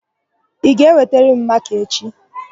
Ị ga-ewetara m makaa echị?